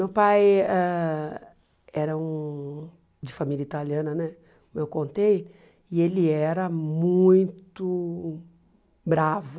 Meu pai ãh era um de família italiana né, como eu contei, e ele era muito bravo.